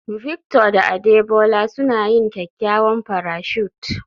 Victor da Adebola suna yin kyakkyawan parachute